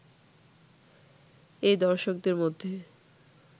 এই দর্শকদের মধ্যে